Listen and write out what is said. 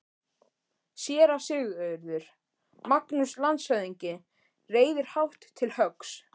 SÉRA SIGURÐUR: Magnús landshöfðingi reiðir hátt til höggs.